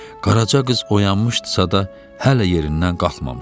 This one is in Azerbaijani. Qaraca qız oyanmışdısa da hələ yerindən qalxmamışdı.